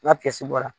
N'a bɔra